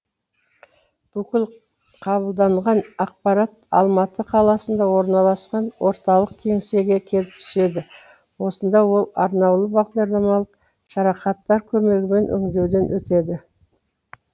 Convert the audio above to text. бұкіл қабылданған ақпарат алматы қаласында орналасқан орталық кеңсеге келіп түседі осында ол арнаулы бағдарламалық жарақаттар көмегімен өңдеуден өтеді